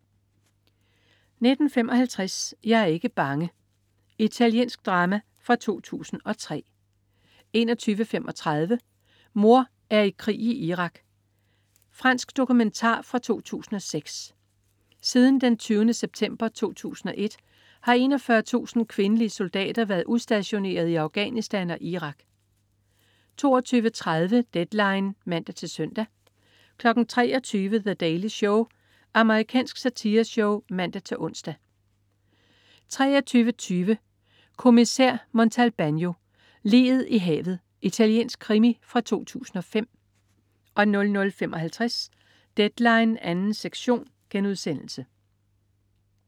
19.55 Jeg er ikke bange. Italiensk drama fra 2003 21.35 Mor er i krig i Irak. Fransk dokumentar fra 2006. Siden den 20. september 2001, har 41.000 kvindelige soldater været udstationeret i Afghanistan og Irak 22.30 Deadline (man-søn) 23.00 The Daily Show. Amerikansk satireshow (man-ons) 23.20 Kommissær Montalbano: Liget i havet. Italiensk krimi fra 2005 00.55 Deadline 2. sektion*